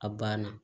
A banna